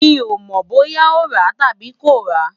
mi ò mọ̀ bóyá ó ràá tàbí kò ràá